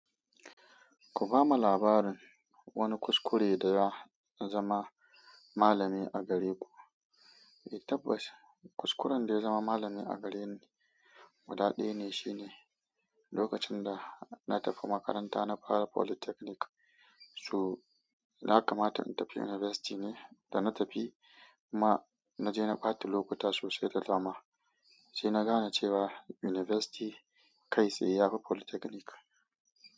Ku bamu labarin wani kuskure da ya zama malami a gare ku. Eh tabbas kuskuren da ya zama malami a gareni, gudaɗaya ne. Shi ne lokacin da na tafi makaranta, na fara polytechnic, su, yakamata na tafi university ne, da na tafi ma naje naɓata lokuta sosai da dama. Sai na gane cewa university kai tsaye ya fi polytechnic.